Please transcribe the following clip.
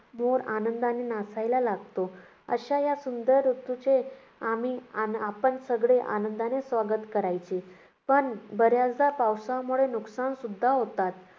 मोर आनंदाने नाचायला लागतो. अशा या सुंदर ऋतूचे आम्ही~ आपण सगळे आनंदाने स्वागत करायचे. पण बऱ्याचदा पावसामुळे नुकसानसुद्धा होतात.